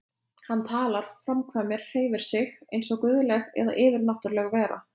Hann talar, framkvæmir, hreyfir sig einsog guðleg eða yfirnáttúrleg vera.